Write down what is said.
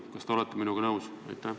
Kas te olete minuga nõus?